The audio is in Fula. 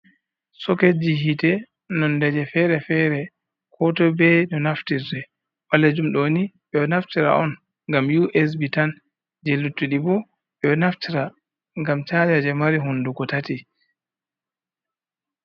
Soketji yiite nondeje fere-fere kootoy be no naftirte, ɓaleejum ɗoni, ɓe ɗo naftira on, ngam USB tan jey luttuɗi bo, ɓe ɗo naftira ngam caaja jey mari hunndugo tati.